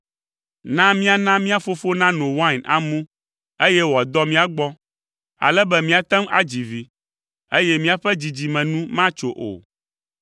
Na míana mía fofo nano wain amu, eye wòadɔ mía gbɔ, ale be míate ŋu adzi vi, eye míaƒe dzidzime nu matso o.”